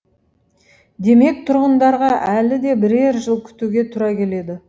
демек тұрғындарға әлі де бірер жыл күтуге тура келеді